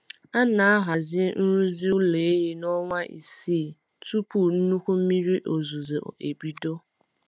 A na-ahazi nrụzi ụlọ ehi na ọnwa isii tupu nnukwu mmiri ozuzo ebido.